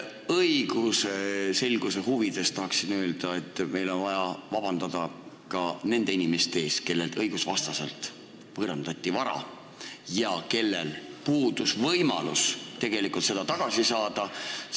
Õigusselguse huvides tahan öelda, et meil on vaja vabandada ka nende inimeste ees, kellelt õigusvastaselt võõrandati vara ja kellel puudus võimalus seda tagasi saada.